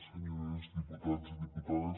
senyores diputades i diputats